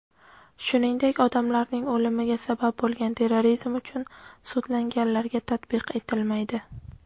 shuningdek odamlarning o‘limiga sabab bo‘lgan terrorizm uchun sudlanganlarga tatbiq etilmaydi.